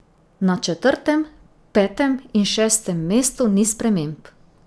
Na četrtem, petem in šestem mestu ni sprememb.